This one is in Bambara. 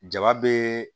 Ja bɛ